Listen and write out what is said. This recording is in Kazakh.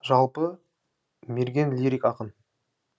жалпы мерген лирик ақын